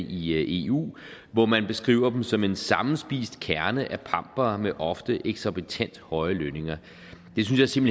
i eu hvor man beskriver dem som en sammenspist kerne af pampere med ofte eksorbitant høje lønninger det synes jeg